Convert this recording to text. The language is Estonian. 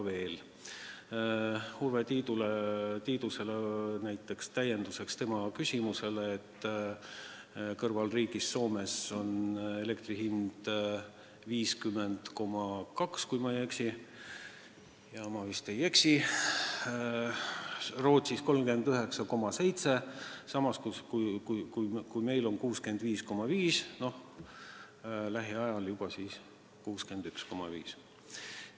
Ütlen Urve Tiidusele täienduseks, et naaberriigis Soomes on elektri hind 50,2, kui ma ei eksi – ja ma vist ei eksi –, Rootsis 39,7, samas kui meil on 65,5, lähiajal siis juba 61,5 eurot.